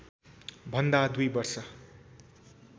भन्दा दुई वर्ष